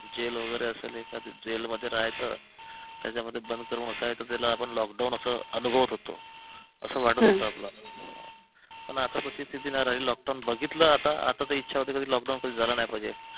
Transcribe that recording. gel वगैरे असेल एखादी जेल मध्ये राहायचं त्याच्यामध्ये बंद करून बसायचं त्याला आपण लॉकडाऊन असं अनुभवत होतो असं वाटत होत आपल्याला पण आता तशी स्थिती नाही राहिली लॉकडाऊन बघितलं आता आता तर इच्छा होते की लॉकडाऊन कधी झालं नाही पाहिजे